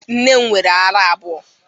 Nne m nwere árá abụọ.